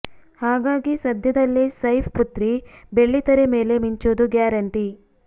ಹಾಗಾಗಿ ಸದ್ಯದಲ್ಲೇ ಸೈಫ್ ಪುತ್ರಿ ಬೆಳ್ಳಿ ತೆರೆ ಮೇಲೆ ಮಿಂಚೋದು ಗ್ಯಾರಂಟಿ